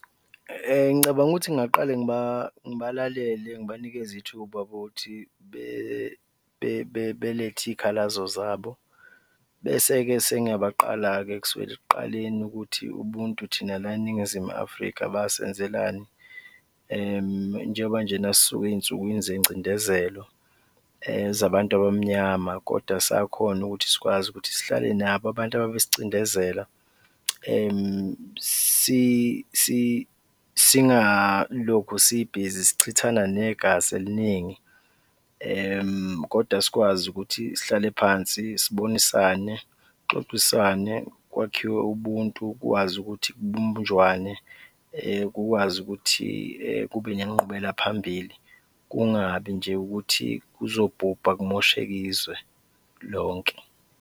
Ngicabanga ukuthi ngingaqale ngibalalele, ngibanikeze ithuba ukuthi belethe iy'khalazo zabo bese-ke sengiyabaqala-ke kusukela ekuqaleni ukuthi ubuntu thina la eNingizimu Afrika basenzelani njengoba njena sisuka ey'nsukwini zengcindezelo zabantu abamnyama kodwa sakhona ukuthi sikwazi ukuthi sihlale nabo abantu ababesicindezela singalokho sibizi sichithana negazi eliningi kodwa sikwazi ukuthi sihlale phansi sibonisane, kuxoxiswane, kwakhiwe ubuntu, kwazi ukuthi kubunjwane kukwazi ukuthi kube ngenqubelaphambili, kungabi nje ukuthi kuzobhubha kumosheke izwe lonke.